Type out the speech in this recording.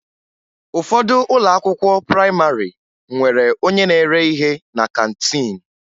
Ụfọdụ ụlọ akwụkwọ prayịmarị nwere onye na-ere ihe na kantiin